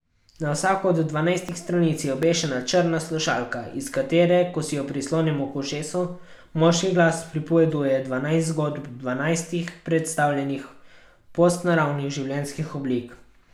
Na vsako od dvanajstih stranic je obešena črna slušalka, iz katere, ko si jo prislonimo k ušesu, moški glas pripoveduje dvanajst zgodb dvanajstih predstavljenih postnaravnih življenjskih oblik.